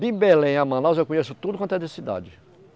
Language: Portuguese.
De Belém a Manaus, eu conheço tudo quanto é de cidade.